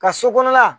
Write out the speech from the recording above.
Ka so kɔnɔna